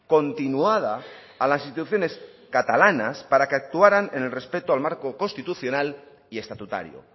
continuada a las instituciones catalanas para que actuaran en el respeto al marco constitucional y estatutario